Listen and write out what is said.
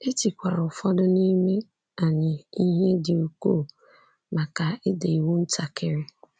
E tikwara ụfọdụ n’ime anyị ihe dị ukwuu maka ịda iwu ntakiri.